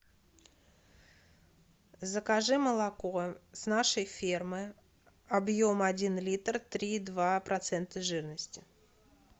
закажи молоко с нашей фермы объем один литр три и два процента жирности